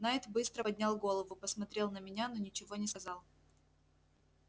найд быстро поднял голову посмотрел на меня но ничего не сказал